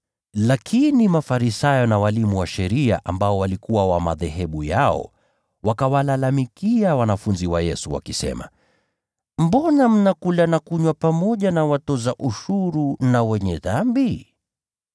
Lakini Mafarisayo na walimu wa sheria waliokuwa wa dhehebu lao wakawalalamikia wanafunzi wa Yesu, wakisema, “Mbona mnakula na kunywa pamoja na watoza ushuru na ‘wenye dhambi’?”